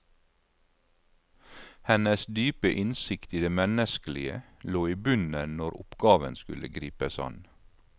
Hennes dype innsikt i det menneskelige lå i bunnen når oppgaven skulle gripes an.